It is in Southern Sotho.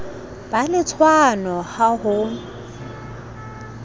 be le tshwano ha ho